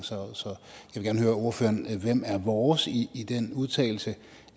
jeg godt høre ordføreren hvem er vores i i den udtalelse